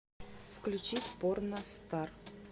включить порностар